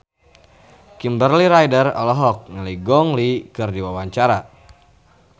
Kimberly Ryder olohok ningali Gong Li keur diwawancara